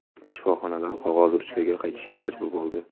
Shifoxonalar qog‘oz-ruchkaga qaytishga majbur bo‘ldi.